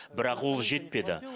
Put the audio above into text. бірақ ол жетпеді